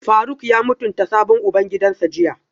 Faruk ya mutunta sabon ubangidansa jiya?